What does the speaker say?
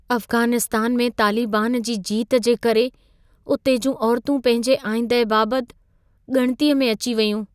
अफ़्ग़ानिस्तान में तालिबान जी जीत जे करे उते जूं औरतूं पंहिंजे आईंदह बाबति ॻणितीअ में अची वयूं।